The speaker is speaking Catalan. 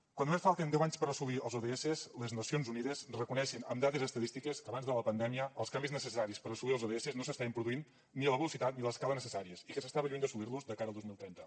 quan només falten deu anys per assolir els ods les nacions unides reconeixen amb dades estadístiques que abans de la pandèmia els canvis necessaris per assolir els ods no s’estaven produint ni a la velocitat ni a l’escala necessàries i que s’estava lluny d’assolir los de cara al dos mil trenta